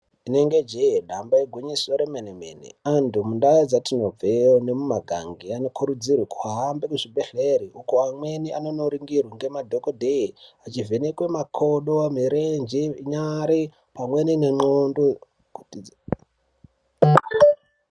Inenge jee damba igwinyiso re mene mene antu mundau dzitinobve ne muma kange anokurudzirwa kuhambe mu zvibhedhlere uko amweni anongo ningirwa nge madhokodheye echi vhenekwa makodo mirenje nyare pamweni ne ndxondo kuti dzi.